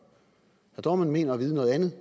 dohrmann mener at vide noget andet